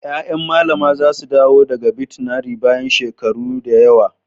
Ƴaƴan Mallama za su dawo daga Birtaniya bayan shekaru da yawa.